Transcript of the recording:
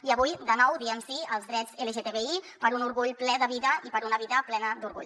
i avui de nou diem sí als drets lgtbi per un orgull ple de vida i per una vida plena d’orgull